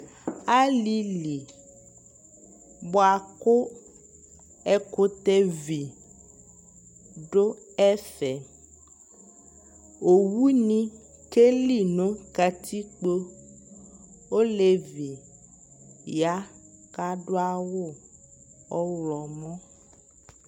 alili bʋakʋ ɛkʋtɛ vi dʋ ɛƒɛ, ɔwʋ ni kɛli nʋ katikpɔ, ɔlɛvi ya kʋ adʋ awʋ ɔwlɔmʋ